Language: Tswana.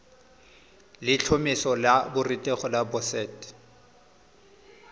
letlhomeso la borutegi la boset